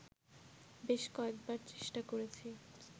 বেশ কয়েকবার চেষ্টা করেছি